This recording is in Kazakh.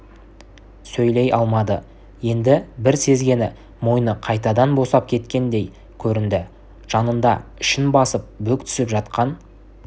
сөйлей алмады енді бір сезгені мойны қайтадан босап кеткендей көрінді жанында ішін басып бүк түсіп жатқан